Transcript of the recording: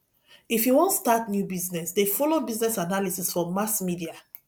if you wan start new business dey folo business analysis for mass media